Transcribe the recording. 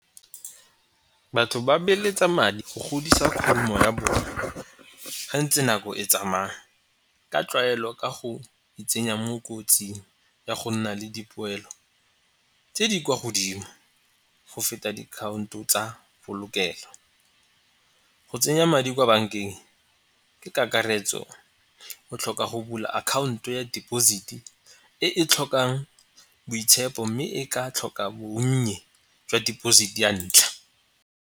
Batho ba beeletsa madi go godisa khumo ya ha ntse nako e tsamaya ka tlwaelo ka go itsenya mo kotsing ya go nna le dipoelo tse di kwa godimo go feta dikhaonto tsa polokelo. Go tsenya madi kwa bankeng ke kakaretso o tlhoka go bula akhaonto ya deposit-e e tlhokang boitshepo mme e ka tlhoka bonnye jwa deposit ya ntlha.